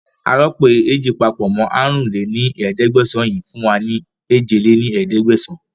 Aròpọ̀ ééjì papọ̀ mọ àrún lé ní ẹ̀ẹ́dẹ́gbẹ́sán yìí fún wa ní èje lé ní ẹ̀ẹ́dẹ́gbẹ́sán